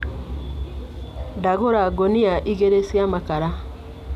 Ndagũra ngũnia igĩrĩ cia makara.